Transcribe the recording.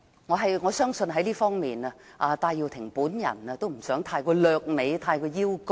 我相信在這方面，戴耀廷也不想過於掠美和邀功。